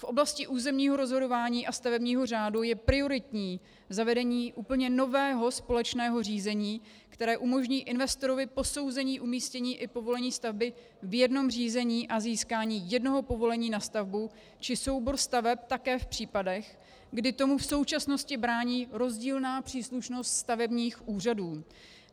V oblasti územního rozhodování a stavebního řádu je prioritní zavedení úplně nového společného řízení, které umožní investorovi posouzení umístění i povolení stavby v jednom řízení a získání jednoho povolení na stavbu či soubor staveb také v případech, kdy tomu v současnosti brání rozdílná příslušnost stavebních úřadů.